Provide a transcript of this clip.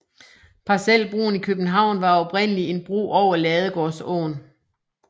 Parcelbroen i København var oprindelig en bro over Ladegårdsåen